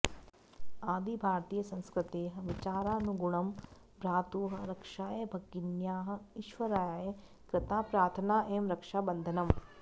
आदिभारतीयसंस्कृतेः विचारानुगुणं भ्रातुः रक्षायै भगिन्या ईश्वराय कृता प्रार्थना एव रक्षाबन्धनम्